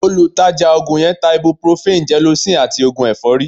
Olùtajà oògùn yẹn ń ta ibuprofen, gelocin àti oògùn ẹ̀fọ́rí